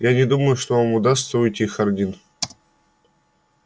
я не думаю что вам удастся уйти хардин